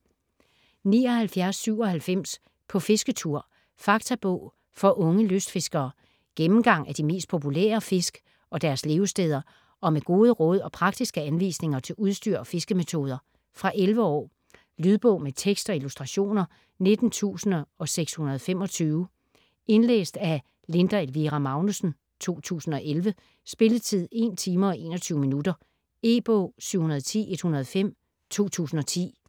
79.97 På fisketur: faktabog for unge lystfiskere Gennemgang af de mest populære fisk og deres levesteder og med gode råd og praktiske anvisninger til udstyr og fiskemetoder. Fra 11 år. Lydbog med tekst og illustrationer 19625 Indlæst af Linda Elvira Magnussen, 2011. Spilletid: 1 timer, 21 minutter. E-bog 710105 2010.